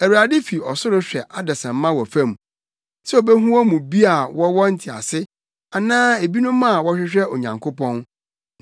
Awurade fi ɔsoro hwɛ adesamma wɔ fam sɛ obehu wɔn mu bi a wɔwɔ ntease, anaa ebinom a wɔhwehwɛ Onyankopɔn.